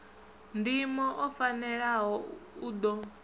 ndimo o fanelaho u ḓo